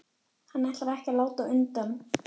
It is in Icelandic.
Hann ætlar ekki að láta undan.